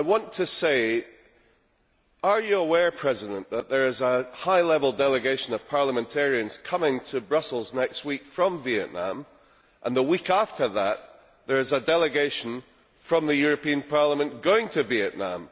I want to say are you aware, Mr President, that there is a high level delegation of parliamentarians coming to Brussels next week from Vietnam? And, the week after that, there is a delegation from this Parliament going to Vietnam.